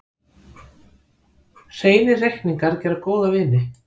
Hreinir reikningar gera góða vini.